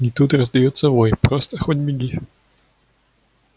и тут раздаётся вой просто хоть беги